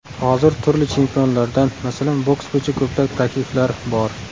Hozir turli chempionlardan, masalan, boks bo‘yicha ko‘plab takliflar bor.